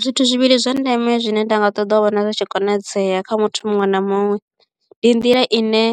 Zwithu zwivhili zwa ndeme zwine nda nga ṱoḓa u vhona zwi tshi konadzea kha muthu muṅwe na muṅwe ndi nḓila ine